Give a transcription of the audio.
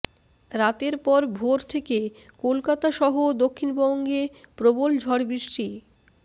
রাতের পর ভোর থেকে কলকাতা সহ দক্ষিণবঙ্গে প্রবল ঝড়বৃষ্টি